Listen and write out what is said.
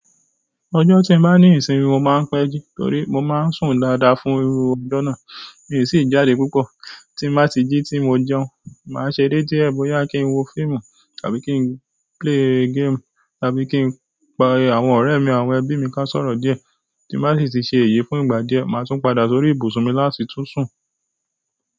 Ọjọ́ tí mo bá ní ìsinmi, mo máa ń péjú torí mo máa ń sùn dáadáa fún irú ọjọ́ náà. Mi ò sì jáde púpọ̀. Tí mo bá ti jí tí mo jẹun, màá ṣe dé tí ẹ̀bù ya kí n wo fíìmù tàbí kí n play game tàbí kí n pa àwọn ọ̀rẹ́ mi àwọn ẹbí mi ká sọ̀rọ̀ díẹ̀. Tí ń bá sì ti sẹ èyí fún ìgbà díẹ̀, màá tún padà sórí ibùsùn mi láti tún sùn.